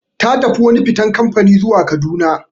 Ta tafi wani fitan kamfani zuwa Kaduna.